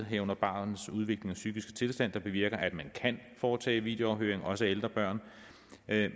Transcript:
herunder barnets udvikling og psykiske tilstand der bevirker at man kan foretage videoafhøring også af ældre børn